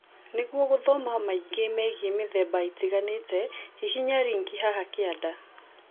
Nĩguo gũthoma maingĩ megiĩ mĩthemba ĩtiganĩte, hihinya rinki haha kĩanda